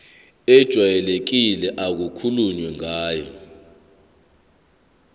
ejwayelekile okukhulunywe ngayo